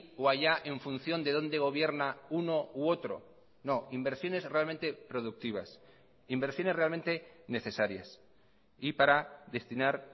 o allá en función de dónde gobierna uno u otro no inversiones realmente productivas inversiones realmente necesarias y para destinar